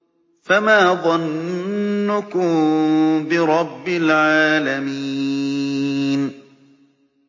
فَمَا ظَنُّكُم بِرَبِّ الْعَالَمِينَ